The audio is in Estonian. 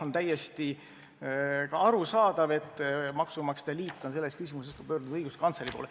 On täiesti arusaadav, et maksumaksjate liit on selles küsimuses pöördunud ka õiguskantsleri poole.